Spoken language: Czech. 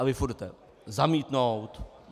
A vy furt jdete: Zamítnout!